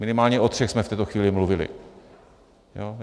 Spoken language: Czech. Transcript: Minimálně o třech jsme v této chvíli mluvili.